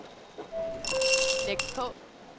læg på